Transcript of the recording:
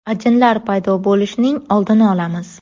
Ajinlar paydo bo‘lishining oldini olamiz.